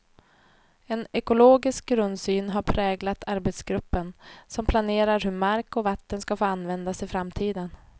En ekologisk grundsyn har präglat arbetsgruppen, som planerar hur mark och vatten skall få användas i framtiden.